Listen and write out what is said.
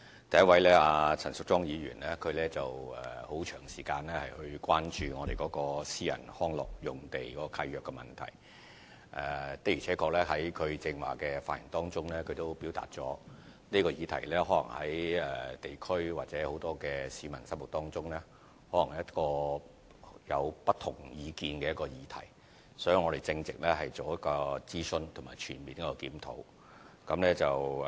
第一位是陳淑莊議員，她很長時間關注私人遊樂場地契約的問題，在剛才的發言中她亦表達了，這個議題可能在地區或很多市民心目中是一個有不同意見的議題，所以我們正在進行諮詢及全面檢討。